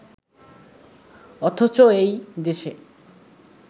অথচ এই দেশে